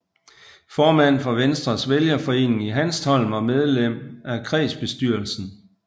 Formand for Venstres vælgerforening i Hanstholm og medlem af kredsbestyrelsen